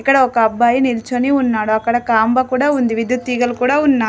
ఇక్కడ ఒక అబ్బాయి నిల్చొని ఉన్నాడు అక్కడ కాంబ కూడా ఉంది విద్యుత్ తీగలు కూడా ఉన్నాయ్.